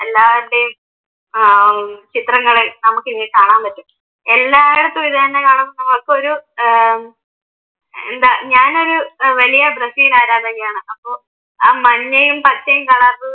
എല്ലാരുടെയും ആഹ് ചിത്രങ്ങള് നമുക്കിനി കാണാൻ പറ്റും. എല്ലായിടത്തും ഇതുതന്നെയാ കാണാം. എനക്കൊരു ഏർ എന്താ ഞാനൊരു വലിയ ബ്രസീൽ ആരാധികയാണ് അപ്പൊ ആ മഞ്ഞയും പച്ചയും കളറിൽ